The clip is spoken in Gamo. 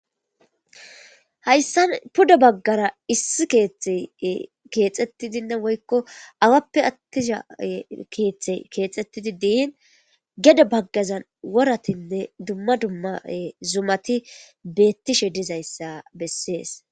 hayssan puda baggara issi keethte keexetti dinna woykko awappe attisha keeththe keexettidi diin gede baggazan woratinne dumma dumma zumati beettishe dizayssa bessees